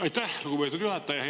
Aitäh, lugupeetud juhataja!